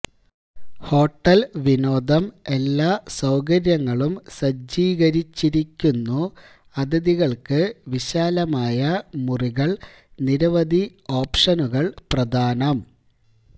hotel വിനോദം എല്ലാ സൌകര്യങ്ങളും സജ്ജീകരിച്ചിരിക്കുന്നു അതിഥികൾക്ക് വിശാലമായ മുറികൾ നിരവധി ഓപ്ഷനുകൾ പ്രദാനം